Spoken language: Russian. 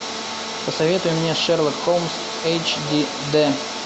посоветуй мне шерлок холмс эйч ди дэ